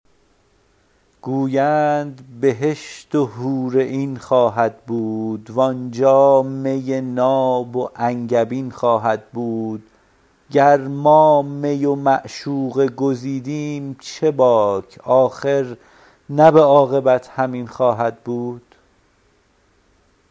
گویند بهشت و حورعین خواهد بود و آنجا می ناب و انگبین خواهد بود گر ما می و معشوقه گزیدیم چه باک آخر نه به عاقبت همین خواهد بود